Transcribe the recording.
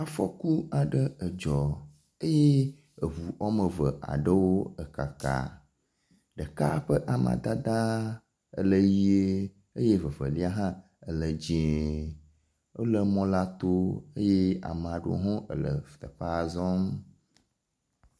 Afɔku aɖe edzɔ eye eŋu woame eve aɖewo ekaka, ɖeka ƒe amadede ele ʋie eye vevelia hã ele dzie, wole mɔla to eye ame aɖewo ele teƒea zɔm.